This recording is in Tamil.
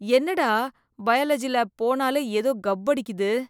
என்னடா, பயாலஜி லேப் போனாலே ஏதோ கப் அடிக்குது.